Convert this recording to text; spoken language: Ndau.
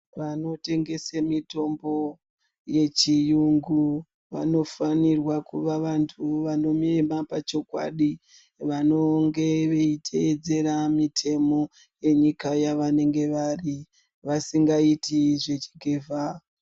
Vanotongese mutombo yechiyungu vanofanirwa kuva vantu vanomira pachokwadi vanotevedzera mitemo yemunyika yavanenge vari vasingaiti zvechigevha.